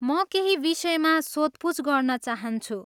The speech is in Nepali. म केही विषयमा सोधपुछ गर्न चाहन्छु।